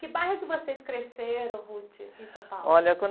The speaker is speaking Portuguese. Que bairro que vocês cresceram, em São Paulo?lha, quando